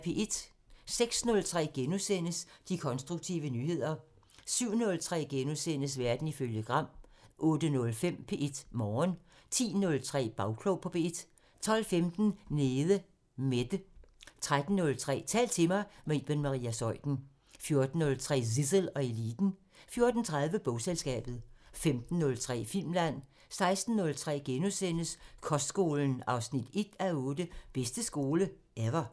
06:03: De konstruktive nyheder * 07:03: Verden ifølge Gram * 08:05: P1 Morgen 10:03: Bagklog på P1 12:15: Nede Mette 13:03: Tal til mig – med Iben Maria Zeuthen 14:03: Zissel og Eliten 14:30: Bogselskabet 15:03: Filmland 16:03: Kostskolen 1:8 – "Bedste skole – ever" *